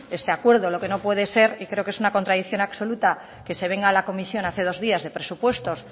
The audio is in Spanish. este acuerdo lo que no puede ser y creo que es una contradicción absoluta que se venga a la comisión hace dos días de presupuestos